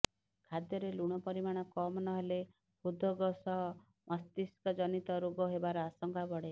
ଖାଦ୍ୟରେ ଲୁଣ ପରିମାଣ କମ୍ ନ ହେଲେ ହୃଦ୍ରୋଗ ସହ ମସ୍ତିଷ୍କଜନିତ ରୋଗ ହେବାର ଆଶଙ୍କା ବଢ଼େ